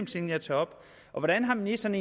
ting jeg tager op hvordan har ministeren